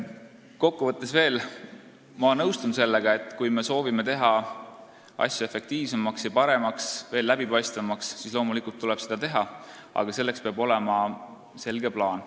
Kokkuvõttes ma nõustun sellega, et kui me soovime midagi teha efektiivsemaks, paremaks ja veel läbipaistvamaks, siis loomulikult tuleb seda teha, aga selleks peab olema selge plaan.